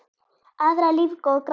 Aðrar lífga og græða.